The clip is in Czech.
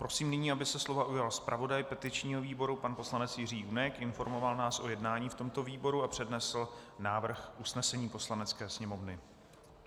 Prosím nyní, aby se slova ujal zpravodaj petičního výboru pan poslanec Jiří Junek, informoval nás o jednání v tomto výboru a přednesl návrh usnesení Poslanecké sněmovny.